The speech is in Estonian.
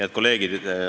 Head kolleegid!